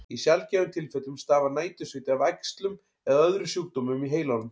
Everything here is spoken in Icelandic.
Í sjaldgæfum tilfellum stafar nætursviti af æxlum eða öðrum sjúkdómum í heilanum.